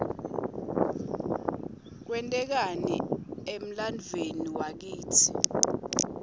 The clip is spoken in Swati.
kwente kani emlanduuemi waklte